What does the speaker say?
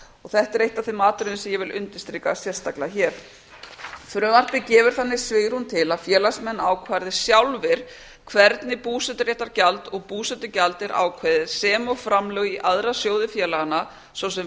þetta er eitt af þeim atriðum sem ég vil undirstrika sérstaklega hér frumvarpið gefur þannig svigrúm til að félagsmenn ákvarði sjálfir hvernig búseturéttargjald og búsetugjald er ákveðið sem og framlög í aðra sjóði félaganna svo sem